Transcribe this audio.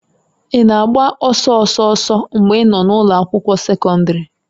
Ị na-agba ọsọ ọsọ ọsọ mgbe ị nọ n'ụlọ akwụkwọ sekọndrị?